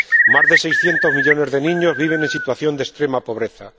más de seiscientos millones de niños viven en situación de extrema pobreza